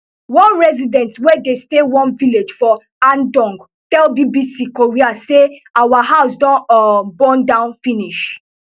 one resident wey dey stay one village for andong tell bbc korea say our house don um burn down finish